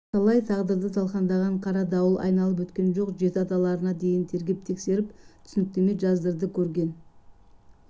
талай тағдырды талқандаған қара дауыл айналып өткен жоқ жеті аталарына дейін тергеп-тексеріп түсініктеме жаздырды көрген